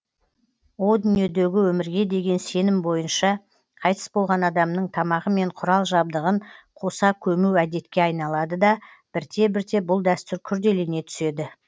о дүниедегі өмірге деген сенім бойынша қайтыс болған адамның тамағы мен құрал жабдығын қоса көму әдетке айналады да бірте бірте бұл дәстүр күрделене түседі